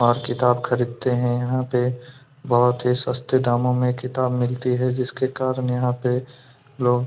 और किताब खरीदते हैं यहाँ पे बोहत ही सस्ते दामो पे किताबे मिलती है जिसके कारन यहाँ पे लोग--